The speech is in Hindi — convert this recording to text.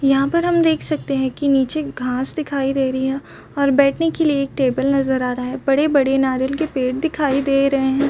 यहाँ पर हम देख सकते है की नीच हमें घास दिखाई दे रही है और बैठने के लिए एक टेबल नज़र आ रहे है बड़े बड़े नारियल के पेड़ दिखाई दे रहे हैं।